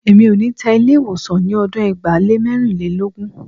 Èmi ò ní tẹ Ilé-ìwọ̀sàn ní ọdún ẹgbàá lé mẹ́rìnlélógún.